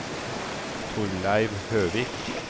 Torleiv Høvik